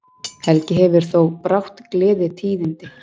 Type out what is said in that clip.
Helgi hefur þó brátt gleðitíðindi.